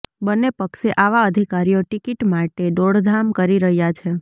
બંને પક્ષે આવા અધિકારીઓ ટિકિટ માટે દોડધામ કરી રહ્યાં છે